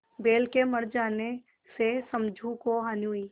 बैल के मर जाने से समझू को हानि हुई